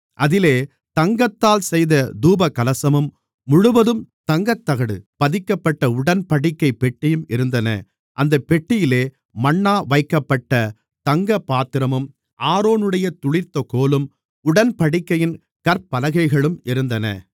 அதிலே தங்கத்தால் செய்த தூபகலசமும் முழுவதும் தங்கத்தகடு பதிக்கப்பட்ட உடன்படிக்கைப் பெட்டியும் இருந்தன அந்தப் பெட்டியிலே மன்னா வைக்கப்பட்ட தங்கப்பாத்திரமும் ஆரோனுடைய துளிர்த்த கோலும் உடன்படிக்கையின் கற்பலகைகளும் இருந்தன